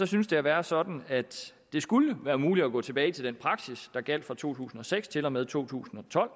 synes det at være sådan at det skulle være muligt at gå tilbage til den praksis der gjaldt for to tusind og seks til og med to tusind og tolv